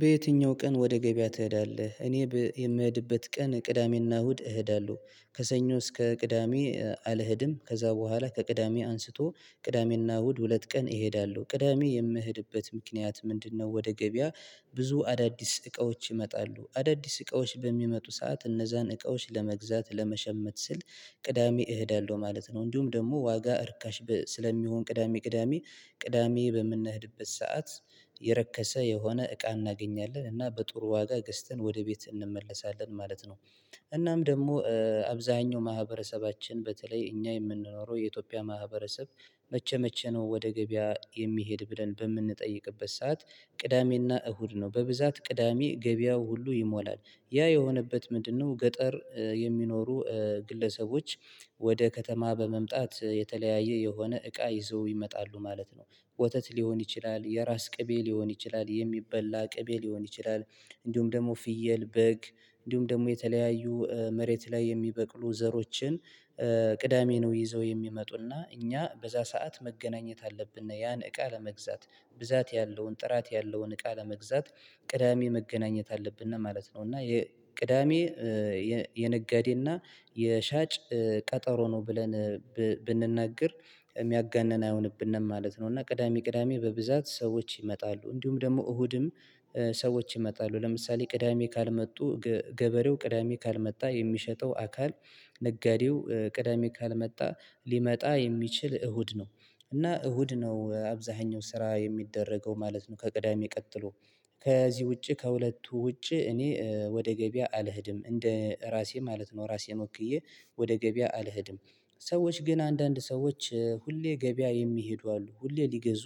በየትኛው ቀን ወደ ገበያ ትሄዳለህ? እኔ የምሄድበት ቀን ቅዳሜና እሁድ እሄዳለሁ። ከሰኞ እስከ ቅዳሜ አልሄድም ከዛ በኋላ ከቅዳሜ አንስቶ ቅዳሜና እሁድ ሁለት ቀን እሄዳለሁ። ቅዳሜ የምሄድበት ምክንያት ምንድነው? ወደ ገበያ ብዙ አዳዲስ እቃዎች ይመጣሉ አዳዲስ እቃዎች በሚመጡ ሰዓት እነዛን እቃዎች ለመግዛት ለመሸመት ስል ቅዳሜ እሄዳለሁ ማለት ነው። እንዲሁም ደግሞ ዋጋ እርካሽ ስለሚሆን ቅዳሜ ቅዳሜ ቅዳሜ በምንሄድበት ሰዓት የረከሰ የሆነ እቃ እናገኛለን እና በጥሩ ዋጋ ገዝተን ወደ ቤት እንመለሳለን ማለት ነው። እናም ደግሞ አብዛኛው ማህበረሰባችን በተለይ እኛ የምንኖረው የኢትዮጵያ ማህበረሰብ መቼ መቼ ነው ወደ ገበያ የሚሄድ ብለን በምንጠይቅበት ሰዓት ቅዳሜና እሁድ ነው። በብዛት ቅዳሜ ገበያው ሁሉ ይሞላል ያ የሆነበት ምንድነው? ገጠር የሚኖሩ ግለሰቦች ወደ ከተማ በመምጣት የተለያየ የሆነ እቃ ይዘው ይመጣሉ ማለት ነው። ወተት ሊሆን ይችላል የራስ ቅቤ ሊሆን ይችላል የሚበላ ቅቤ ሊሆን ይችላል። እንዲሁም ደግሞ ፍየል በግ እንዲሁም ደግሞ የተለያዩ መሬት ላይ የሚበቅሉ ዘሮችን ቅዳሜ ነው ይዘው የሚመጡና እኛ በዛ ሰዓት መገናኘት አለብን። ያን እቃ ለመግዛት ብዛት ያለውን ጥራት ያለውን እቃ ለመግዛት ቅዳሜ መገናኘት አለብን ነው ማለት ነው። እና ቅዳሜ የነጋዴና የሻጭ ቀጠሮ ነው ብለን ብንናገር የሚያጋንን አይሆንብንም ማለት ነው። እና ቅዳሜ ቅዳሜ በብዛት ሰዎች ይመጣሉ እንዲሁም ደግሞ እሁድም ሰዎች ይመጣሉ። ለምሳሌ ቅዳሜ ካልመጡ ገበሬው ቅዳሜ ካልመጣ የሚሸጠው አካል ነጋዴው ቅዳሜ ካልመጣ ሊመጣ የሚችል እሁድ ነው። እና እሁድ ነው አብዛኛው ስራ የሚደረገው ማለት ነው። ከቅዳሜ ቀጥሎ ከዚህ ውጪ ከሁለቱ ውጪ እኔ ወደ ገበያ አልሄድም እንደ ራሴ ማለት ነው። ራሴን ወክዬ ወደ ገበያ አልሄድም። ሰዎች ግን አንዳንድ ሰዎች ሁሌ ገበያ የሚሄዱ አሉ ሁሌ ሊገዙ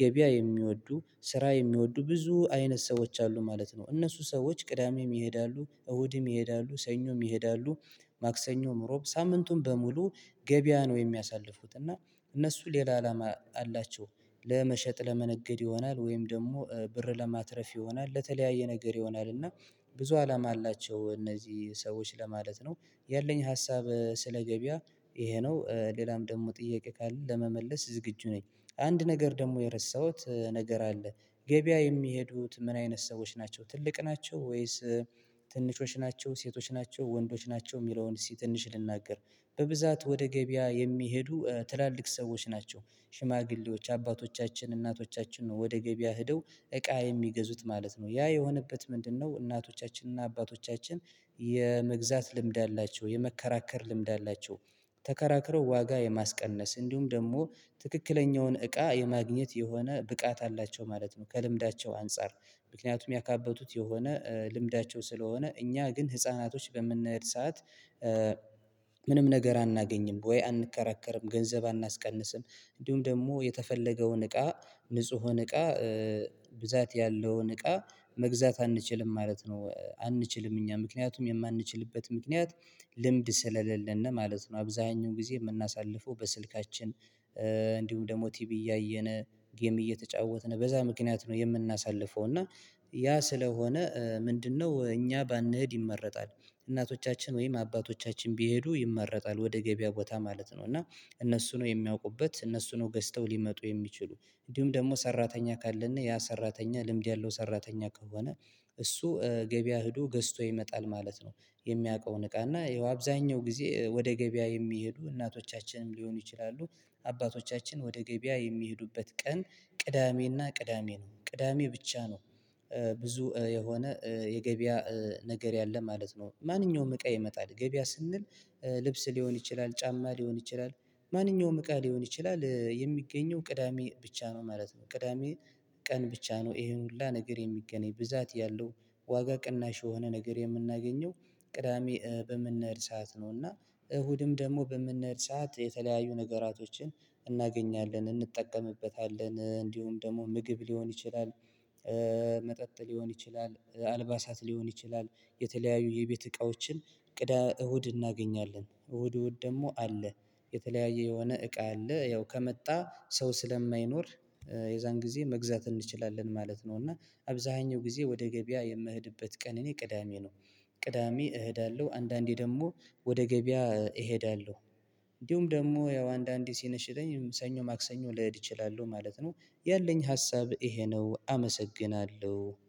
ገበያ የሚወዱ ስራ የሚወዱ ብዙ አይነት ሰዎች አሉ ማለት ነው። እነሱ ሰዎች ቅዳሜም ይሄዳሉ እሁድም ይሄዳሉ ሰኞም ይሄዳሉ ማክሰኞም ሮብ ሳምንቱን በሙሉ ገበያ ነው የሚያሳልፉት እና። እነሱ ሌላ አላማ አላቸው ለመሸጥ ለመነገድ ይሆናል ወይም ደግሞ ብር ለማትረፍ ይሆናል ለተለያየ ነገር ይሆናል እና ብዙ አላማ አላቸው እነዚህ ሰዎች ለማለት ነው። ያለኝ ሀሳብ ስለ ገበያ ይሄ ነው ሌላም ደግሞ ጥያቄ ካለ ለመመለስ ዝግጁ ነኝ። አንድ ነገር ደግሞ የረሳሁት ነገር አለ። ገበያ የሚሄዱት ምን አይነት ሰዎች ናቸው ትልቅ ናቸው ወይስ? ትንንሾች ናቸው ሴቶች ናቸው ወንዶች ናቸው የሚለውን እስቲ ትንሽ ልናገር። በብዛት ወደ ገበያ የሚሄዱ ትላልቅ ሰዎች ናቸው። ሽማግሌዎች አባቶቻችን እናቶቻችን ነው ወደ ገበያ ሄደው እቃ የሚገዙት ማለት ነው ያ የሆነበት ምንድነው? እናቶቻችንና አባቶቻችን የመግዛት ልምድ አላቸው የመከራከር ልምድ አላቸው ተከራክረው ዋጋ የማስቀነስ እንዲሁም ደግሞ ትክክለኛውን እቃ የማግኘት የሆነ ብቃት አላቸው ማለት ነው። ከልምዳቸው አንፃር ምክንያቱም ያካበቱት የሆነ ልምዳቸው ስለሆነ እኛ ግን ህፃናቶች በምንሄድ ሰዓት ምንም ነገር አናገኝም ወይ አንከራከርም ገንዘብ አናስቀንስም። እንዲሁም ደግሞ የተፈለገውን እቃ ንጹሁን እቃ ብዛት ያለውን እቃ መግዛት አንችልም ማለት ነው። አንችልም እኛ ምክንያቱም የማንችልበት ምክንያት ልምድ ስለሌለን ነው ማለት ነው። አብዛኛው ጊዜ የምናሳልፈው በስልካችን እንዲሁም ደግሞ ቲቪ እያየነ ጌም እየተጫወትነ በዛ ምክንያት ነው የምናሳልፈው እና ያ ስለሆነ ምንድነው እኛ ባንሄድ ይመረጣል። እናቶቻችን ወይም አባቶቻችን ቢሄዱ ይመረጣል ወደ ገበያ ቦታ ማለት ነው። እና እነሱ ነው የሚያውቁበት እነሱ ነው ገዝተው ሊመጡ የሚችሉ እንዲሁም ደግሞ ሰራተኛ ካለና ያ ሰራተኛ ልምድ ያለው ሰራተኛ ከሆነ እሱ ገበያ ሄዶ ገዝቶ ይመጣል ማለት ነው። የሚያውቀውን እቃና ይኸው አብዛኛው ጊዜ ወደ ገበያ የሚሄዱ እናቶቻችንም ሊሆኑ ይችላሉ አባቶቻችን ወደ ገበያ የሚሄዱበት ቀን ቅዳሜና ቅዳሜ ነው ቅዳሜ ብቻ ነው ብዙ የሆነ የገበያ ነገር ያለ ማለት ነው። ማንኛውም እቃ ይመጣል ገበያ ስንል ልብስ ሊሆን ይችላል ጫማ ሊሆን ይችላል ማንኛውም እቃ ሊሆን ይችላል የሚገኘው ቅዳሜ ብቻ ነው ማለት ነው። ቅዳሜ ቀን ብቻ ነው ይሄን ሁሉ ነገር የሚገናኝ ብዛት ያለው ዋጋ ቅናሽ የሆነ ነገር የምናገኘው ቅዳሜ በምንሄድ ሰዓት ነው። እና እሁድም ደግሞ በምንሄድ ሰዓት የተለያዩ ነገራቶችን እናገኛለን እንጠቀምበታለን እንዲሁም ደግሞ ምግብ ሊሆን ይችላል። መጠጥ ሊሆን ይችላል አልባሳት ሊሆን ይችላል። የተለያዩ የቤት እቃዎችን ቅዳ እሁድ እናገኛለን እሁድ እሁድ ደግሞ አለ። የተለያየ የሆነ እቃ አለ ያው ከመጣ ሰው ስለማይኖር የዛን ጊዜ መግዛት እንችላለን ማለት ነው። እና አብዛኛው ጊዜ ወደ ገበያ የምህድበት ቀን እኔ ቅዳሜ ነው። ቅዳሜ እሄዳለሁ አንዳንዴ ደግሞ ወደ ገበያ እሄዳለሁ። እንዲሁም ደግሞ ያው አንዳንዴ ሲነሽጠኝ ሰኞ ማክሰኞ ልሄድ እችላለሁ ማለት ነው። ያለኝ ሀሳብ ይሄ ነው። አመሰግናለሁ